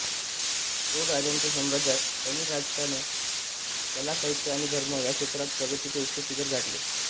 चोळ राजांच्या साम्राज्यात तमिळ राष्ट्राने कला साहित्य आणि धर्म ह्या क्षेत्रात प्रगतीचे उच्च शिखर गाठले